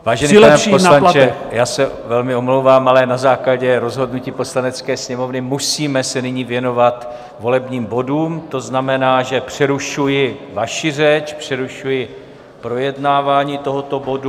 Vážený pane poslanče, já se velmi omlouvám, ale na základě rozhodnutí Poslanecké sněmovny musíme se nyní věnovat volebním bodům, to znamená, že přerušuji vaši řeč, přerušuji projednávání tohoto bodu.